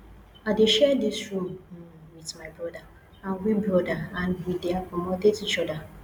i dey share dis room um wit my broda and we broda and we dey accommodate each oda